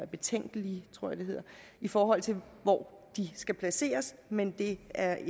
betænkelighed i forhold til hvor de skal placeres men det er